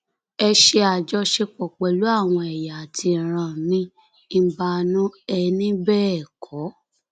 ẹ ṣe àjọṣepọ pẹlú àwọn ẹyà àti ìran miín mbanú ẹ ní bẹẹ kọ